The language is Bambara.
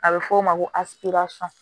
A bɛ f'o ma ko